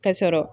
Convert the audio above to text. Ka sɔrɔ